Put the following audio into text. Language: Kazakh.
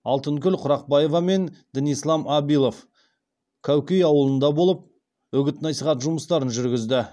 алтынкүл құрақбаева мен дінислам абилов кәукей ауылында болып үгіт насихат жұмыстарын жүргізді